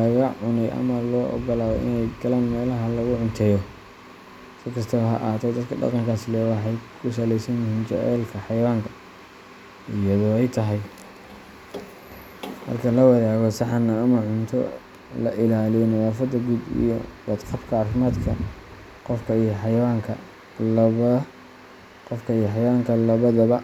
laga cunay ama loo oggolaado inay galaan meelaha lagu cunteeyo. Si kastaba ha ahaatee, dadka dhaqankaas leh waxay ku saleynayaan jacaylka xayawaanka, iyadoo ay tahay in marka la wadaago saxan ama cunto, la ilaaliyo nadaafadda guud iyo badqabka caafimaadka qofka iyo xayawaanka labadaba.